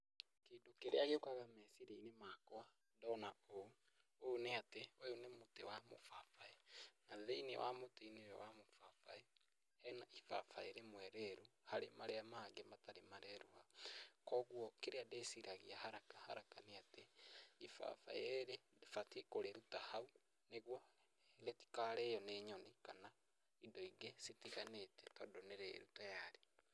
Kĩndũ kĩrĩa gĩũkaga meciria-inĩ makwa ndona ũũ, ũũ nĩ atĩ ũyũ nĩ mũtĩ wa mũbabaĩ, na thĩinĩ wa mũtĩ-inĩ ũyũ wa mũbabaĩ, hena ibabaĩ rĩmwe rĩru harĩ marĩa mangĩ matarĩ mareruha. Koguo kĩrĩa ndĩciragia haraka haraka nĩ atĩ, ibabaĩ ũbatie kũrĩruta hau niguo rĩtikarĩo nĩ nyoni kana indo ingĩ citiganĩte tondũ nĩ rĩru tayari.